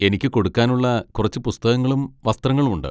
എനിക്ക് കൊടുക്കാനുള്ള കുറച്ച് പുസ്തകങ്ങളും വസ്ത്രങ്ങളും ഉണ്ട്.